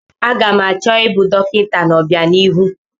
Aga m achọ ịbụ dọkịta n'obianihu.